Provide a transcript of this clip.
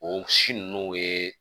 O si nunnu ye